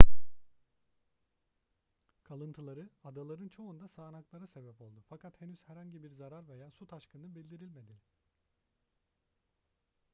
kalıntıları adaların çoğunda sağanaklara sebep oldu fakat henüz herhangi bir zarar veya su taşkını bildirilmedi